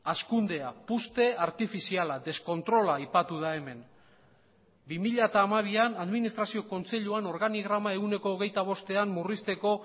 hazkundea puzte artifiziala deskontrola aipatu da hemen bi mila hamabian administrazio kontseiluan organigrama ehuneko hogeita bostean murrizteko